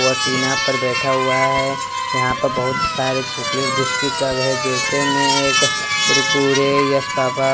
वो टीना पर बैठा हुआ है यहां पर बहुत सारे चॉकलेट बिस्किट सब है जैसे में एक कुरकुरे यस बाबा।